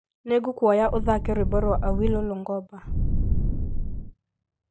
Nĩngũkũhoya ũthake rwĩmbo rwa awilo longomba